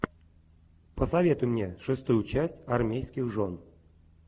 посоветуй мне шестую часть армейских жен